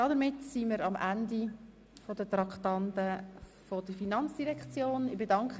Somit sind wir am Ende der Traktanden der Finanzdirektion angelangt.